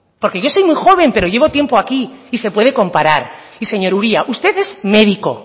porque yo soy muy joven pero llevo tiempo aquí y se puede comparar y señor uria usted es médico